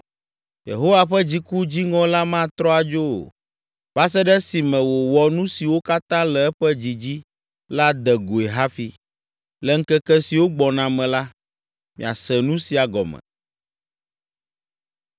Yehowa ƒe dziku dziŋɔ la matrɔ adzo o, va se ɖe esime wòwɔ nu siwo katã le eƒe dzi dzi la de goe hafi. Le ŋkeke siwo gbɔna me la, miase nu sia gɔme.